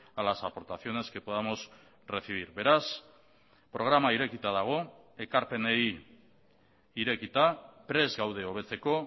a las aportaciones que podamos recibir beraz programa irekita dago ekarpenei irekita prest gaude hobetzeko